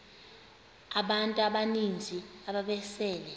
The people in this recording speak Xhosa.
abantu abaninzi ababesele